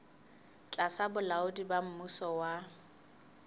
tlasa bolaodi ba mmuso wa